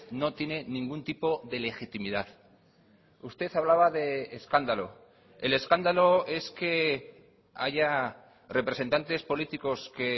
no tiene ningún tipo de legitimidad usted hablaba de escándalo el escándalo es que haya representantes políticos que